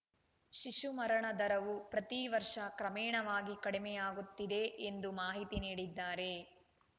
ಶಿಶು ಮರಣ ದರವು ಪ್ರತಿ ವರ್ಷ ಕ್ರಮೇಣವಾಗಿ ಕಡಿಮೆಯಾಗುತ್ತಿದೆ ಎಂದು ಮಾಹಿತಿ ನೀಡಿದ್ದಾರೆ